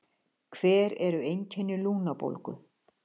hver eru einkenni lungnabólgu